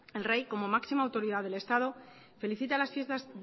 el rey como máxima autoridad del estado felicita las fiestas